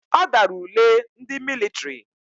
Ọ dara ule ndị mịlịtrị.